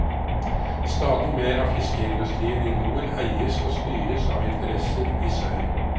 Stadig mer av fiskeindustrien i nord eies og styres av interesser i sør.